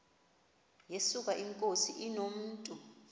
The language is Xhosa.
yesuka inkosi inomntu